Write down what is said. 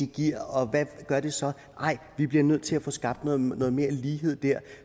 giver og hvad gør det så nej vi bliver nødt til at få skabt noget mere lighed der